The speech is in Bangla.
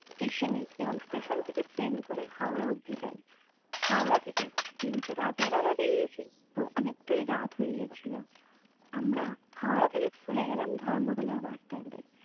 স্টেশনে এবং স্টেশন থেকে ট্রেন ধরে আমরা হাওড়া অব্দি যাই হাওড়া থেকে যেহেতু রাতের বেলা বেরিয়েছি তো অনেকটাই রাত হয়ে গিয়েছিল। আমরা হাওড়া থেকে চলে গেলাম ধর্মতলার বাস stand এ